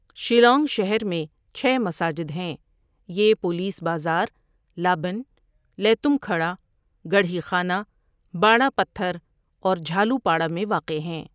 شیلانگ شہر میں چھ مساجد ہیں یہ Police Bazar, Laban, Laitumkhrah, Garikhana, Barapathar اور جھالُوپاڑا میں واقع ہیں۔